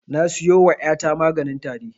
Na siyo wa ƴa ta maganin tari